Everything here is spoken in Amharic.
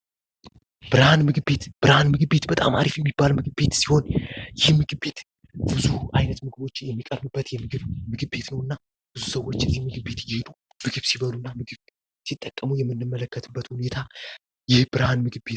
ብርሃን ምግብ ቤት ብርሃን ምግብ ቤት በጣም አሪፍ የሚባል ምግብ ቤት ሲሆን ይህ ምግብ ቤት ብዙ አይነት ምግብ ሚቀርብበት ምግብ ቤት ነው እና ብዙ ሰዎች ዚህ ምግብ ቤት እየሄዱ ምግብ ሲበሉ እና ሲጠቀሙ የምንመለከትበት ሁኔታ የብርሃን ምግብ ቤት ነው።